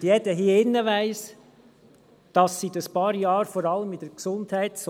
Und jeder hier im Saal weiss, dass seit ein paar Jahren vor allem seitens